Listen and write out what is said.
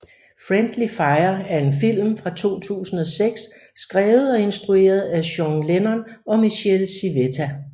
Friendly Fire er en film fra 2006 skrevet og instrueret af Sean Lennon og Michele Civetta